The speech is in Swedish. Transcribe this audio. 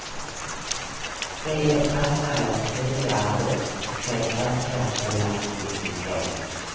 Ska ge fastare, smidigare hud med ökad elasticitet.